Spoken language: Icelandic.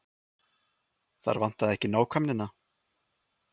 Þar vantaði ekki nákvæmnina.